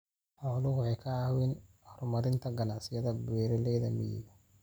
Xooluhu waxay ka caawiyaan horumarinta ganacsiyada beeralayda miyiga.